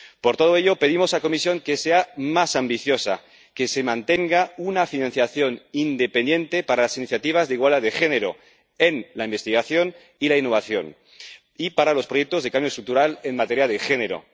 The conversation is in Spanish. Por todo ello, pedimos a la Comisión que sea más ambiciosa y que se mantenga una financiación independiente para las iniciativas de igualdad de género en la investigación y la innovación y para los proyectos de cambio estructural en materia de género.